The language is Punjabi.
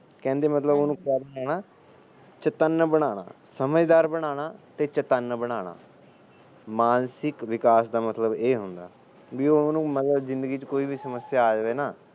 ਕਹਿੰਦੇ ਉਹਨੂੰ ਮਤਲਬ ਚੇਤੰਨ ਬਣਾਣਾ ਸਮਝਦਾਰ ਤੇ ਚੇਤੰਨ ਬਣਾਣਾ ਮਾਨਸਿਕ ਵਿਕਾਸ ਦਾ ਮਤਲਬ ਇਹ ਹੁੰਦਾ ਬਿ ਉਹਨੂੰ ਜਿੰਦਗੀ ਚ ਮਤਲਬ ਕੋਈ ਵੀ ਸਮੱਸਿਆ ਆ ਜਾਵੇ ਨਾ